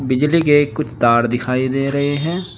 बिजली के कुछ तार दिखाई दे रहे हैं।